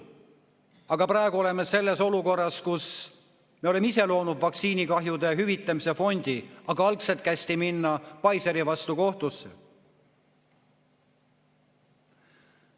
Aga praegu oleme sellises olukorras, et oleme ise loonud vaktsiinikahjude hüvitamise fondi, kuigi algselt kästi minna Pfizeri vastu kohtusse.